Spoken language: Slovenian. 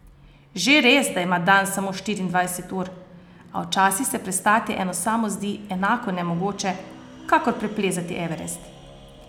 Že res, da ima dan samo štiriindvajset ur, a včasih se prestati eno samo zdi enako nemogoče, kakor preplezati Everest.